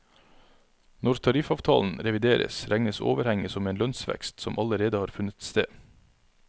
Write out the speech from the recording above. Når tariffavtalen revideres regnes overhenget som en lønnsvekst som allerede har funnet sted.